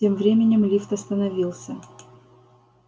тем временем лифт остановился